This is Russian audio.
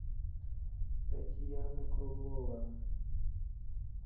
татьяна круглова